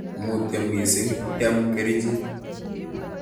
Mutyo mising, biam kerichek.